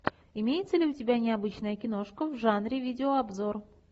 имеется ли у тебя необычная киношка в жанре видеообзор